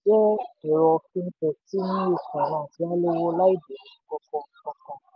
palmcredit jẹ́ ẹ̀rọ fintech tí newedge finance yá owó láì bẹ̀rẹ̀ nnkan kankan.